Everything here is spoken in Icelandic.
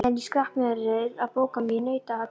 Meðan ég skrapp niður að bóka mig í nautaatið.